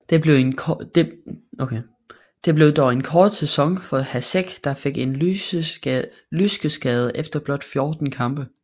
Det blev dog en kort sæson for Hašek der fik en lyskeskade efter blot 14 kampe